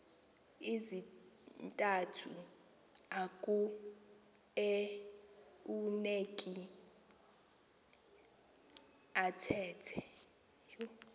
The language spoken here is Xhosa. zintathu akueuneki athethe